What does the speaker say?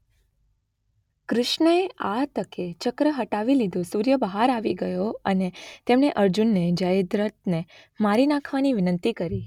કૃષ્ણએ આ તકે ચક્ર હટાવી લીધું સૂર્ય બહાર આવી ગયો અને તેમણે અર્જુનને જયદ્રથને મારી નાખવા વિનંતી કરી.